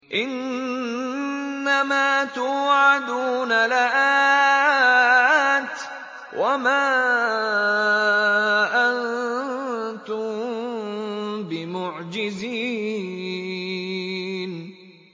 إِنَّ مَا تُوعَدُونَ لَآتٍ ۖ وَمَا أَنتُم بِمُعْجِزِينَ